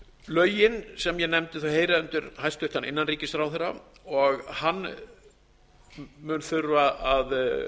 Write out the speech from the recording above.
lögin sem ég nefndi heyra undir hæstvirtur innanríkisráðherra og hann mun þurfa að